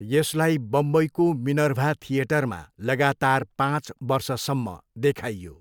यसलाई बम्बईको मिनर्भा थिएटरमा लगातार पाँच वर्षसम्म देखाइयो।